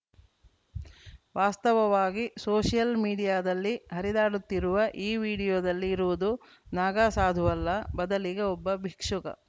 ವಾಸ್ತವವಾಗಿ ಸೋಷಿಯಲ್‌ ಮೀಡಿಯಾದಲ್ಲಿ ಹರಿದಾಡುತ್ತಿರುವ ಈ ವಿಡಿಯೋದಲ್ಲಿ ಇರುವುದು ನಾಗಾಸಾಧುವಲ್ಲ ಬದಲಿಗೆ ಒಬ್ಬ ಭಿಕ್ಷುಕ